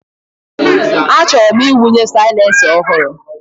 Achọrọ m ịwụnye silencer ọhụrụ.